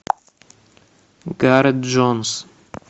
гарет джонс